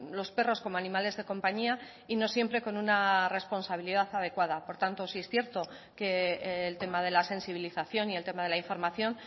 los perros como animales de compañía y no siempre con una responsabilidad adecuada por tanto sí es cierto que el tema de la sensibilización y el tema de la información